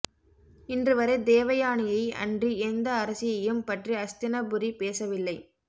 இன்றுவரை தேவயானியை அன்றி எந்த அரசியையும் பற்றி அஸ்தினபுரி பேசவில்லை